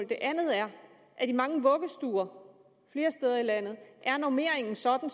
det andet er at i mange vuggestuer flere steder i landet er normeringen sådan